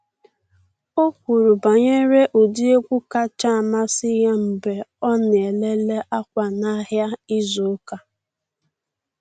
O kwuru banyere ụdị egwu kacha amasị ya mgbe ọ na ele le akwa n’ahịa izu ụka.